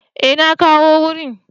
E na kawo wurin.